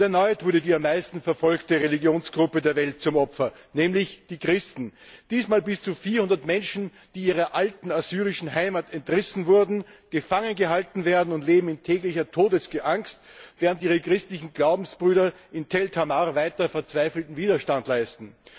Und erneut wurde die am meisten verfolgte Religionsgruppe der Welt zum Opfer, nämlich die Christen, diesmal bis zu 400 Menschen, die ihrer alten assyrischen Heimat entrissen wurden, gefangen gehalten werden und in täglicher Todesangst leben, während ihre christlichen Glaubensbrüder in Tall Tamer weiter verzweifelten Widerstand leisten.